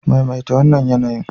Maimaita wannan yanayin.